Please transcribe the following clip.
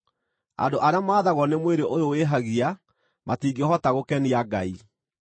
Andũ arĩa maathagwo nĩ mwĩrĩ ũyũ wĩhagia matingĩhota gũkenia Ngai.